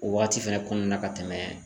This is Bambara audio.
O waati fɛnɛ kɔnɔna na ka tɛmɛ